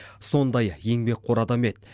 сондай еңбекқор адам еді